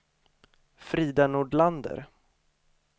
Frida Nordlander